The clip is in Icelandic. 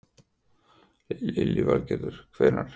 Lillý Valgerður: Hvenær?